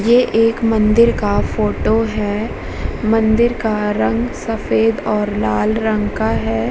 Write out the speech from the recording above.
ये एक मंदिर का फोटो है। मंदिर का रंग सफ़ेद और लाल रंग का है।